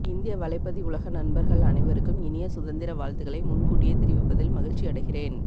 இந்திய வலைப்பதிவுலக நண்பர்கள் அனைவருக்கும் இனிய சுதந்திர வாழ்த்துக்களை முற்கூட்டியே தெரிவிப்பதில் மகிழ்ச்சி அடைகிறேன்